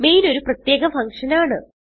main ഒരു പ്രത്യേക function ആണ്